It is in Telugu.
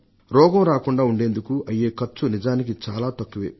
రోగం రాకుండా ఉండేందుకు అయ్యే ఖర్చు నిజానికి చాలా తక్కువే